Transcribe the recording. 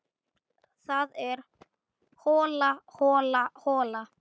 Það er hola, hola, hola.